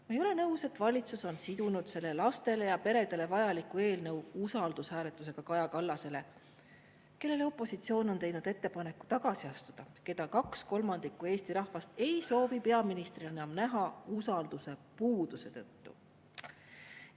Ma ei ole nõus, et valitsus on sidunud selle lastele ja peredele vajaliku eelnõu usaldushääletusega Kaja Kallasele, kellele opositsioon on teinud ettepaneku tagasi astuda ja keda kaks kolmandikku Eesti rahvast ei soovi peaministrina näha usalduse puuduse tõttu.